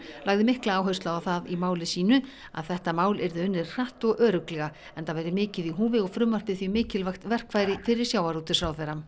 lagði mikla áherslu á það í máli sínu að þetta mál yrði unnið hratt og örugglega enda væri mikið í húfi og frumvarpið því mikilvægt verkfæri fyrir sjávarútvegsráðherra